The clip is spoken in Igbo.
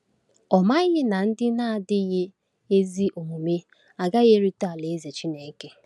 Ọ̀ maghị na ndị na-adịghị ezi omume agaghị erite Alaeze Chineke?